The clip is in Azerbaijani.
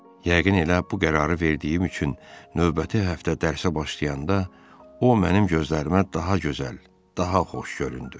Yəqin elə bu qərarı verdiyim üçün növbəti həftə dərsə başlayanda o mənim gözlərimə daha gözəl, daha xoş göründü.